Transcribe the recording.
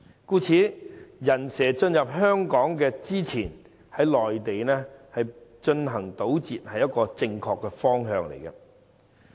故此，在"人蛇"進入香港前，於內地進行堵截是一個正確的方向。